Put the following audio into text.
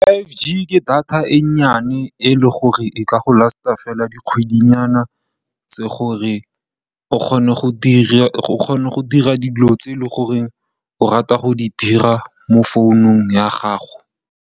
FiveG ke data e nnyane e leng gore e ka go last-a fela dikgwedi nyana tse leng gore o kgona go dira dilo tse e leng gore o rata go di dira mo founung ya gago.